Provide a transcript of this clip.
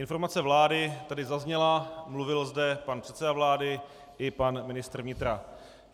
Informace vlády tady zazněla, mluvil zde pan předseda vlády i pan ministr vnitra.